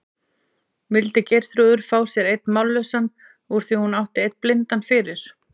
Vildi Geirþrúður fá sér einn mállausan úr því hún átti einn blindan fyrir?